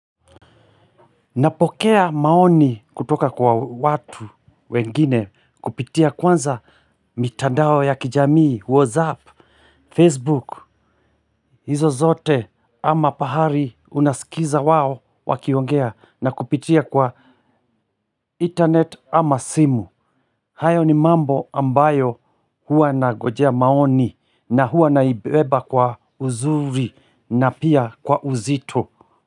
Napokea maoni kutoka kwa watu wengine kupitia kwanza mitandao ya kijamii, whatsapp, facebook, hizo zote ama pahari unasikiliza wao wakiongea na kupitia kwa internet ama simu. Hayo ni mambo ambayo hua nangojea maoni na hua naibeba kwa uzuri na pia kwa uzito.